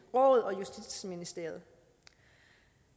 og justitsministeriet